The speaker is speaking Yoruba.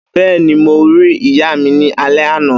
Bẹ́ẹ́ni, mo rí ìyàmi ni alé àná.